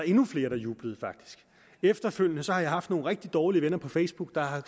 endnu flere der jublede efterfølgende har jeg haft nogle rigtig dårlige venner på facebook der har